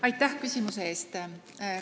Aitäh küsimuse eest!